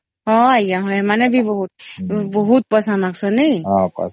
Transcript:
ହଁ ଆଂଜ୍ଞା ଏମାନେ ବି ବହୁତ ବହୁତ ପଇସା ନେଇସନ ନାଇଁ